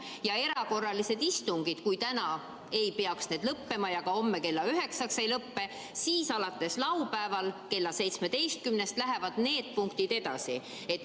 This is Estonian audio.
Ja erakorralised istungid, kui täna ei peaks päevakorrapunktid lõppema ja need ei lõppe ka homme kella üheksaks, siis alates laupäeval kella 17-st läheksid need punktid edasi.